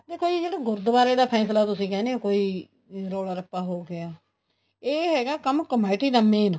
ਦੇਖੋ ਜੀ ਜਿਹੜਾ ਗੁਰੂਦੁਆਰੇ ਦਾ ਫੈਸਲਾ ਤੁਸੀਂ ਕਹਿਣੋ ਕੋਈ ਰੋਲਾ ਰੱਪਾ ਹੋ ਗਿਆ ਇਹ ਹੈਗਾ ਕੰਮ ਕਮੇਟੀ ਦਾ main